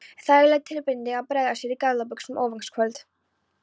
Þægileg tilbreyting að bregða sér í gallabuxur á aðfangadagskvöld